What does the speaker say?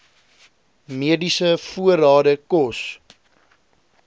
mediese voorrade kos